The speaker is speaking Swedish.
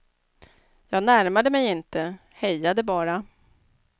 Jag närmade mig inte, hejade bara.